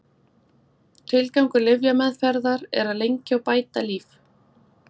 Tilgangur lyfjameðferðar er að lengja og bæta líf.